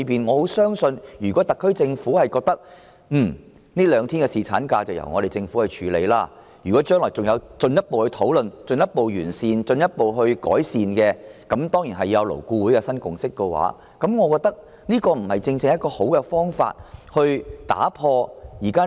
我相信屆時如果特區政府認為這兩天侍產假的開支會由政府承擔，又或是將來經進一步討論後完善政策，當然還要勞顧會取得新共識，這便正是解決問題的最好方法。